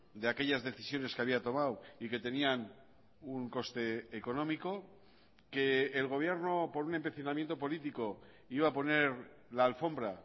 de aquellas decisiones que había tomado y que tenían un coste económico que el gobierno por un empecinamiento político iba a poner la alfombra a